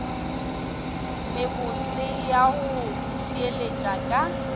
mebotse ya go theeletša ka